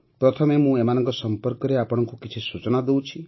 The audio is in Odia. ପ୍ରଥମେ ମୁଁ ଏମାନଙ୍କ ସମ୍ପର୍କରେ ଆପଣଙ୍କୁ କିଛି ସୂଚନା ଦେଉଛି